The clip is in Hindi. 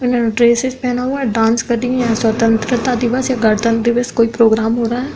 इन्होने ड्रेस्सेस पेहना हुआ डांस कर रही है। स्वतंत्रता दिवस या गणतंत्र दिवस कोई प्रोग्राम हो रहा है।